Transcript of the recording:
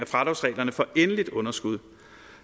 fradragsreglerne for endeligt underskud